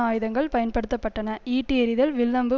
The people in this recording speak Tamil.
ஆயுதங்கள் பயன்படுத்த பட்டன ஈட்டி எறிதல் வில் அம்பு